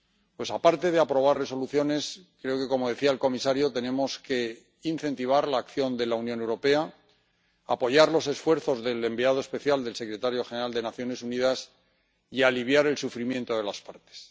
Pues, aparte de aprobar resoluciones, creo que ―como decía el comisario― tenemos que incentivar la acción de la Unión Europea, apoyar los esfuerzos del enviado especial del secretario general de las Naciones Unidas y aliviar el sufrimiento de las partes.